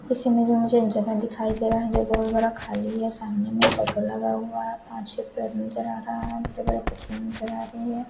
इस इमेज में मुझे जो एक जगह दिखाई दे रहा है जो बहोत बड़ा खाली है सामने में एक फोटो लगा हुआ है नजर आ रहा है नजर आ रही है।